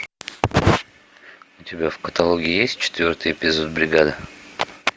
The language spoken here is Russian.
у тебя в каталоге есть четвертый эпизод бригады